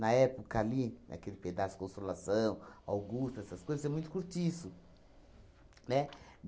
época ali, naquele pedaço Consolação, Augusta, essas coisas, tinha muito cortiço, né?